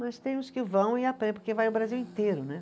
Mas tem uns que vão e, porque vai o Brasil inteiro, né.